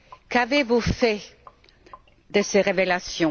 Qu'avez vous fait de ces révélations?